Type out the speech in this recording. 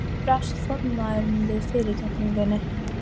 Hvernig brást formaðurinn við fyrirgefningunni?